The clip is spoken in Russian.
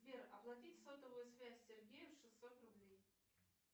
сбер оплатить сотовую связь сергею шестьсот рублей